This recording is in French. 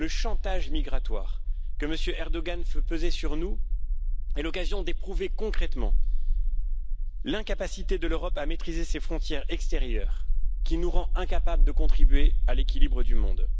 Le chantage migratoire que M. Erdogan fait peser sur nous est l'occasion d'éprouver concrètement l'incapacité de l'Europe à maîtriser ses frontières extérieures, qui nous rend incapables de contribuer à l'équilibre du monde.